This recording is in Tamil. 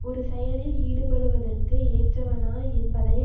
ஒரு செயலில் ஈடுபடுவதற்கு ஏற்றவனா என்பதை